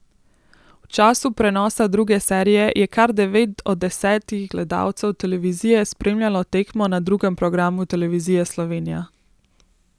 V času prenosa druge serije je kar devet od desetih gledalcev televizije spremljalo tekmo na drugem programu Televizije Slovenija.